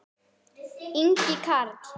Ingi Karl.